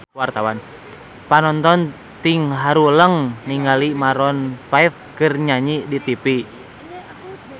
Panonton ting haruleng ningali Maroon 5 keur nyanyi di tipi